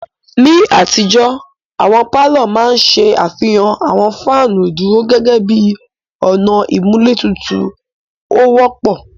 Ni àtijó, àwọn palọ ma n ṣe afihan awọn fanu iduro gẹgẹbi ọna imulé tutu o wọpọ.